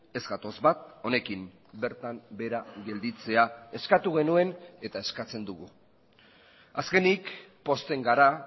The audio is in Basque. ez gatoz bat honekin bertan behera gelditzea eskatu genuen eta eskatzen dugu azkenik pozten gara